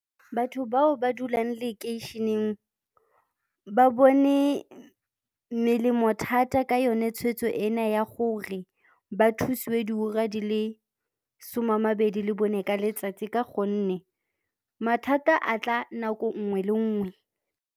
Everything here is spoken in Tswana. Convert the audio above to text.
Batho bao ba dulang lekeisheneng ba bone melemo thata ka yone tshweetso ena ya gore ba thusiwe diura di le some a mabedi le bone ka letsatsi ka gonne mathata a tla nako nngwe le nngwe.